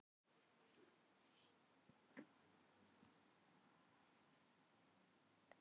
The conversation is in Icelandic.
Ég sel það ekki dýrara en ég keypti.